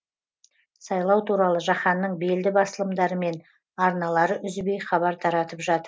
сайлау туралы жаһанның белді басылымдары мен арналары үзбей хабар таратып